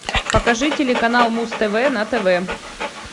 покажи телеканал муз тв на тв